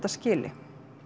skila